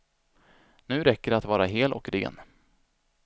Nu räcker det att vara hel och ren.